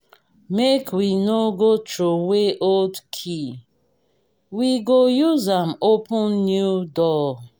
make we no go throway old key we go use am open new door.